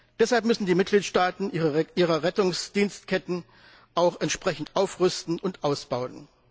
Deshalb müssen die Mitgliedstaaten ihre Rettungsdienstketten auch entsprechend aufrüsten und ausbauen.